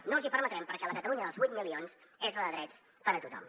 no els hi permetrem perquè la catalunya dels vuit milions és la de drets per a tothom